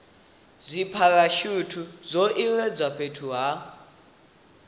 dzipharashuthi zwo iledzwa fhethu ha